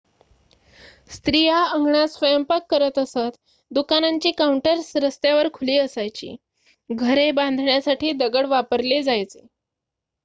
स्त्रिया अंगणात स्वयंपाक करत असतं दुकानांची काउंटर्स रस्त्यावर खुली असायची घरे बांधण्यासाठी दगड वापरले जायचे